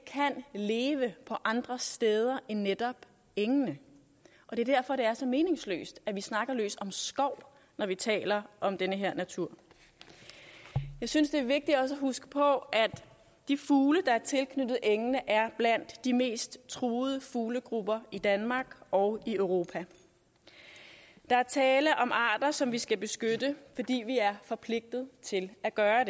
kan leve på andre steder end netop engene og det er derfor det er så meningsløst at vi snakker løs om skov når vi taler om den her natur jeg synes det er vigtigt også at huske på at de fugle der er tilknyttet engene er blandt de mest truede fuglegrupper i danmark og europa der er tale om arter som vi skal beskytte fordi vi er forpligtet til at gøre